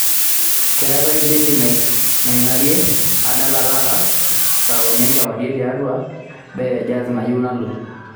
keetae bendi nangirae aadala taata saa uni enkewarie tiatua baa e jaz nayieu nalo